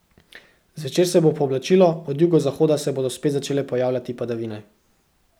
Zvečer se bo pooblačilo, od jugozahoda se bodo spet začele pojavljati padavine.